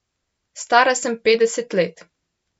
Stara sem petdeset let.